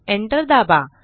enter दाबा